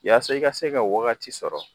Yaasa i ka se ka wagati sɔrɔ